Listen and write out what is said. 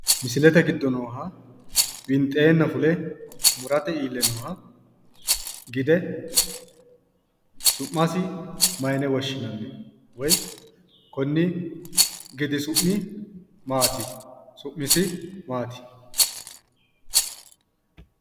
Misilete giddo nooha winxeenna fule murate iille nooha gide susu'masi mayine woshshinanni? Woyi konni gidi su'mi maati? Su'misi maati?